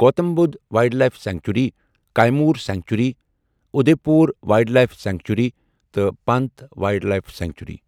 Gautam Buddha wildlife sanctuary, Kaimur sanctuary, Udaipur wildlife sanctuary تہٕ Pant wildlife sanctuary.